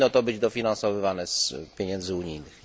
Nie powinno to być dofinansowywane z pieniędzy unijnych.